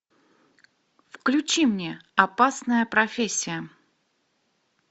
включи мне опасная профессия